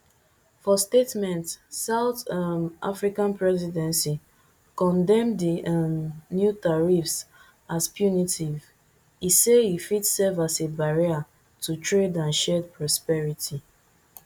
for statement south um african presidency condemn di um new tariffs as punitive e say e fit serve as a barrier to trade and shared prosperity